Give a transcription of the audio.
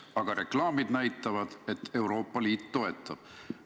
Aga reklaamid näitavad, et Euroopa Liit toetab.